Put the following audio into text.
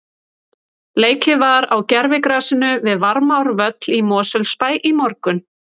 Leikið var á gervigrasinu við Varmárvöll í Mosfellsbæ í morgun.